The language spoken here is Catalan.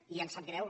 i ens sap greu